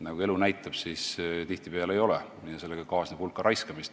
Nagu elu näitab, tihtipeale see nii ei ole ja sellega kaasneb hulk raiskamist.